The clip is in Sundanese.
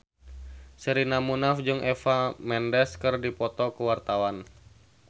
Sherina Munaf jeung Eva Mendes keur dipoto ku wartawan